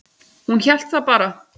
Hún hélt það bara.